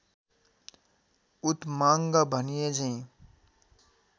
उत्तमाङ्ग भनिएझैं